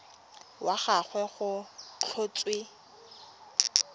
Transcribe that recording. wa ga gagwe go tlhotswe